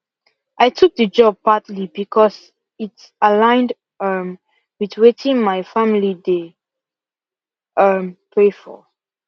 i took the job partly because it aligned um with weitin my family dey um pray for